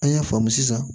An y'a faamu sisan